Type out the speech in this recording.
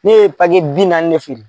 Ne ye bi naani de feere